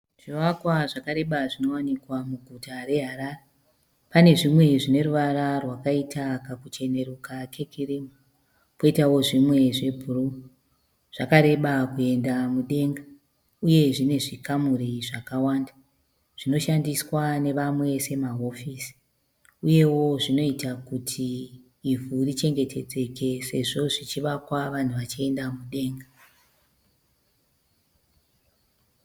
Zvivakwa zvareba zvinowanikwa muguta reHarare. Pane zvimwe zvine ruvara rwakaita kakucheneruka kekirimu, poitawo zvimwe zvebhuruu. Zvakareba kuenda mudenga uye zvine zvikamuri zvakawanda . Zvinoshandiswa nevamwe semahofisi uyewo zvinoita kuti ivhu richengetedzeke sezvo zvichivakwa vanhu vachienda mudenga.